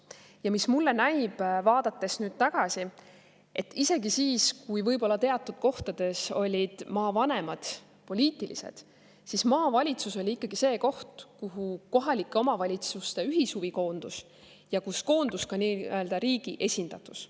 Ja mulle näib, vaadates nüüd tagasi, et isegi siis, kui võib-olla teatud kohtades olid maavanemad poliitilised, siis maavalitsus oli ikkagi see koht, kuhu koondus kohalike omavalitsuste ühishuvi ja kuhu koondus ka nii-öelda riigi esindatus.